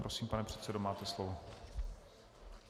Prosím, pane předsedo, máte slovo.